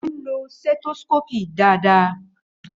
Ó ń lo stethoscope dáadáa.